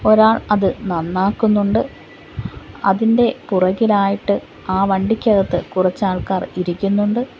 ഒരാൾ അത് നന്നാക്കുന്നുണ്ട് അതിൻ്റെ പുറകിലായിട്ട് ആ വണ്ടിക്കകത്ത് കുറച്ചാൾക്കാർ ഇരിക്കുന്നുണ്ട്.